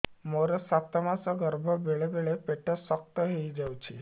ମୋର ସାତ ମାସ ଗର୍ଭ ବେଳେ ବେଳେ ପେଟ ଶକ୍ତ ହେଇଯାଉଛି